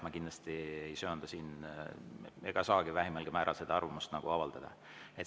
Ma kindlasti ei söanda ega saagi siin vähimalgi määral arvamust avaldada.